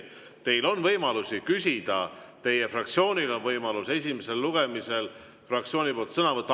Teil on võimalus küsida, teie fraktsioonil on võimalus esimesel lugemisel fraktsiooni nimel sõna võtta.